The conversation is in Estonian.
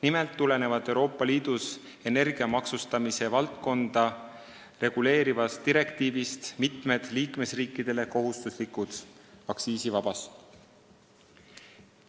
Nimelt tulenevad Euroopa Liidus energia maksustamise valdkonda reguleerivast direktiivist mitmed liikmesriikidele kohustuslikud aktsiisivabastused.